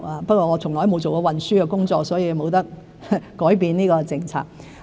不過，我從來都沒有做過運輸的工作，所以不能改變這個政策。